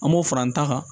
An b'o fara an ta kan